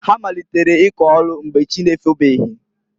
Ha malitere ịkọ ọlụ mgbe chị na-efobeghi.